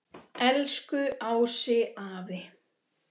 Elsku Ási afi.